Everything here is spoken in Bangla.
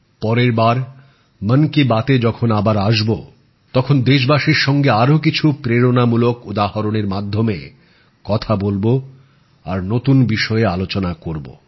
পরের বার মন কি বাত এ যখন আবার আসব তখন দেশবাসীর সঙ্গে আরো কিছু প্রেরণাদায়ক উদাহরণের ব্যাপারে কথা বলব আর নতুন বিষয়ে আলোচনা করব